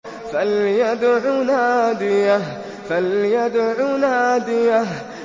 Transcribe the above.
فَلْيَدْعُ نَادِيَهُ